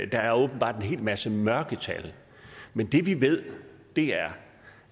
der er åbenbart en hel masse mørketal men det vi ved er